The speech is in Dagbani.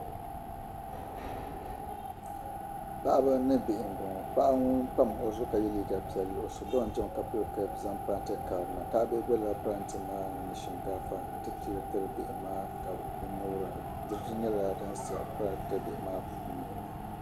Paɣaba ni bihi m-bɔŋɔ paɣa ŋun pam o zuɣu ka ye liiga pɛlli o so doon chani ka pili kaapu zaŋ niŋ parante karili ni paɣa maa boli la bihi na n-ti pii shinkaafa tiri bihi maa ka bɛ ŋubira diriti nyɛla din sa parante bihi maa puuni